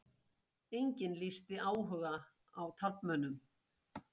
Enginn lýsti áhuga á taflmönnum